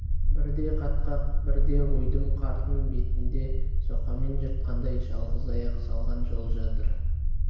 бірде қатқақ бірде ойдым қардың бетінде соқамен жыртқандай жалғыз аяқ салған жол жатыр